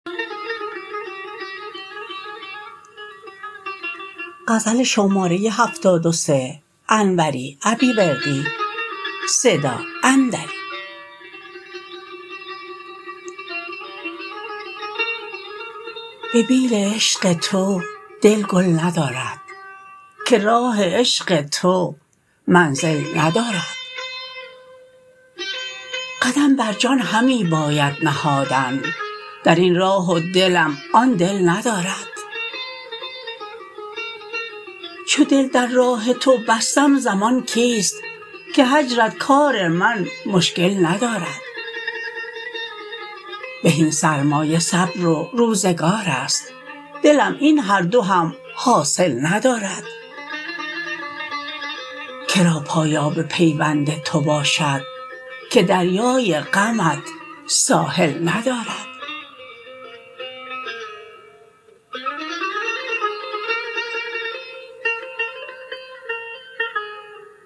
به بیل عشق تو دل گل ندارد که راه عشق تو منزل ندارد قدم بر جان همی باید نهادن در این راه و دلم آن دل ندارد چو دل در راه تو بستم ضمان کیست که هجرت کار من مشکل ندارد بهین سرمایه صبر و روزگارست دلم این هر دو هم حاصل ندارد کرا پایاب پیوند تو باشد که دریای غمت ساحل ندارد